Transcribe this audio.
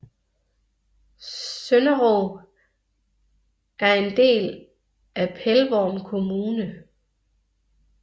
Sønderog er en del af Pelvorm kommune